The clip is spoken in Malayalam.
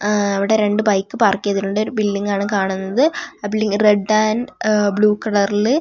അ ഇവിടെ രണ്ട് ബൈക്ക് പാർക്ക് ചെയ്തിട്ടുണ്ട് ഒരു ബിൽഡിംഗ്‌ ആണ് കാണുന്നത് ആ ബിൽഡി റെഡ് ആൻഡ് ബ്ലു കളറില് --